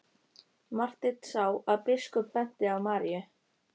Marteinn sá að biskup benti á Maríu.